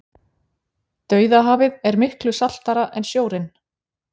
Dauðahafið er miklu saltara en sjórinn.